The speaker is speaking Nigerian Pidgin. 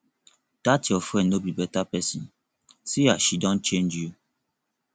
dat your friend no be beta person see as she don change you